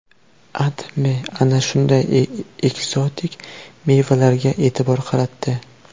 AdMe ana shunday ekzotik mevalarga e’tibor qaratdi.